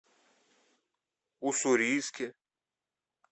уссурийске